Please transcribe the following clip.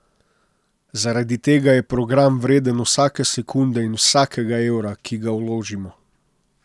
Zaradi tega je program vreden vsake sekunde in vsakega evra, ki ga vložimo.